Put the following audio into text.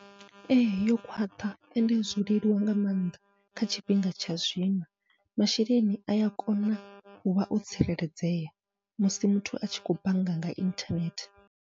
Ee yo khwaṱha ende zwo leluwa nga maanḓa kha tshifhinga tsha zwino, masheleni aya kona uvha o tsireledzea musi muthu atshi khou bannga nga inthanethe.